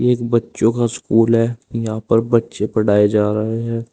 एक बच्चों का स्कूल है यहां पर बच्चे पढ़ाए जा रहा है।